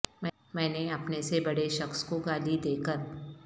میں نے اپنے سے بڑے شخص کو گالی دے کر